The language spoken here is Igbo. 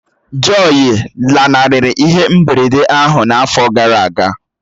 Jọyi lanarịrị ihe mberede ahụ n'afọ gara aga